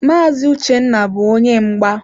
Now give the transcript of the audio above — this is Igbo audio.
Maazi Uchenna bu onye mgba.